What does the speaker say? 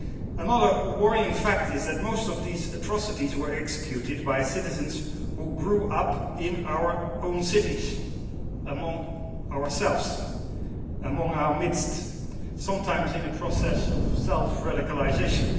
Another worrying fact is that most of these atrocities were executed by citizens who grew up in our own cities, among us, in our midst, sometimes in a process of self radicalisation.